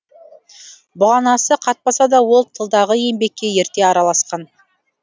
бұғанасы қатпаса да ол тылдағы еңбекке ерте араласқан